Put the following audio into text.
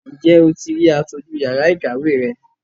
Ǹjẹ́ o ti rí aṣojú yàrá ìkàwé rẹ?